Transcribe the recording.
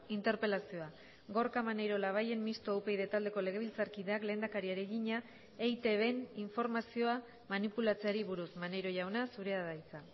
interpelazioa gorka maneiro labayen mistoa upyd taldeko legebiltzarkideak lehendakariari egina eitbn informazioa manipulatzeari buruz maneiro jauna zurea da hitza